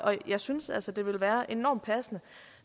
jeg synes altså det vil være enormt passende